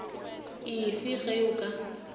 e fe ge go ka